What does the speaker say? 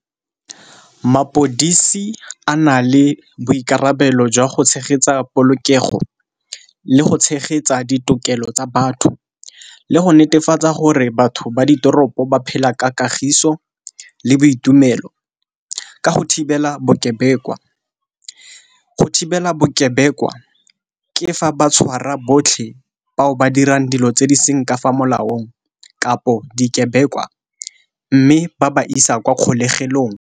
Mapodisi a na le boikarabelo jwa go tshegetsa polokego le go tshegetsa ditokelo tsa batho, le go netefatsa gore batho ba ditoropo ba phela ka kagiso le boitumelo ka go thibela bokebekwa. Go thibela bokebekwa ke fa ba tshwara botlhe bao ba dirang dilo tse di seng ka fa molaong kapo dikebekwa, mme ba ba isa kwa kgolegelong.